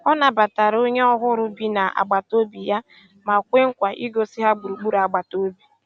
Ọ nàbàtàra ònyè ọ̀hụrụ́ bì na àgbátobị̀ yà mà kwéè nkwa ìgòsí ha gbùrùgbùrù àgbàtà òbì.